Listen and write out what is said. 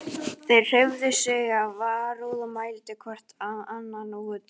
Þeir hreyfðu sig af varúð og mældu hvor annan út.